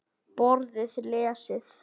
Borðið lesið.